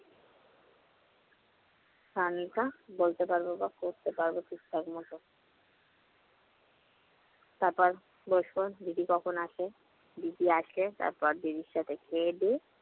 টা বলতে পারব বা করতে পারব ঠিকঠাকমত। তারপর বসব, দিদি কখন আসে। দিদি আসলে তারপর দিদির সাথে খেয়েদেয়ে